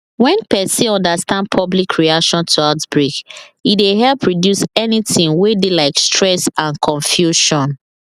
when person understand public reaction to outbreak e dey help reduce anytin wey dey like stress and confusion